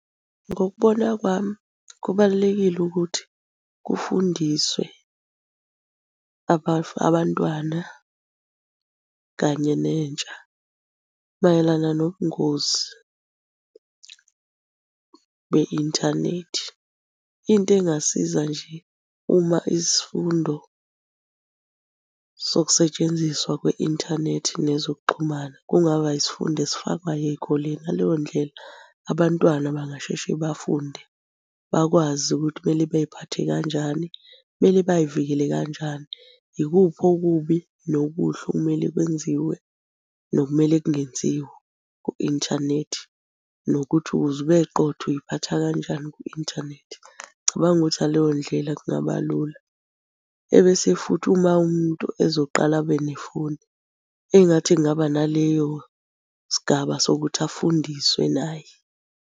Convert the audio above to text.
Ngokubona kwami kubalulekile ukuthi kufundiswe abantwana kanye nentsha mayelana nobungozi be-inthanethi. Into engasiza nje uma isifundo sokusetshenziswa kwe-inthanethi nezokuxhumana kungaba isifundo esifakwayo ey'koleni, ngaleyo ndlela abantwana bangasheshe bafunde. Bakwazi ukuthi kumele bey'phathe kanjani, kumele bay'vikele kanjani. Ikuphi okubi nokuhle okumele kwenziwe nokumele kungenziwa ku-inthanethi nokuthi ukuze ube qotho, uy'phatha kanjani ku-inthanethi. Ngicabanga ukuthi ngaleyo ndlela kungaba lula. Ebese futhi uma umuntu ezoqala abe nefoni, engathi kungaba naleyo sigaba sokuthi afundiswe naye.